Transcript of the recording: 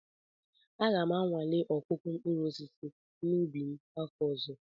Aga m anwale ọkụkụ mkpụrụ osisi n'ubi m afọ ọzọ